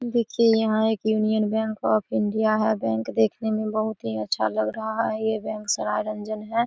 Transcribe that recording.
देखिए यहां एक यूनियन बैंक ऑफ इंडिया है बैंक देखने मे बहुत ही अच्छा लग रहा है ये बैंक सरारंजन है।